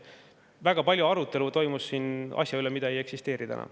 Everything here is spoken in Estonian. Aga väga arutelu toimus siin asja üle, mida ei eksisteeri enam.